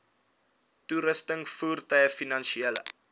toerusting voertuie finansiële